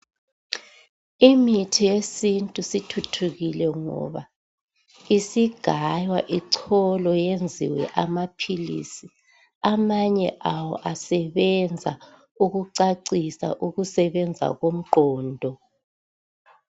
Imithi yesintu isithuthukile ngoba isigaywa icholwe iyenziwe amapilisi amanye akhowo asebenza ukucacisa ukusebenza komqondo.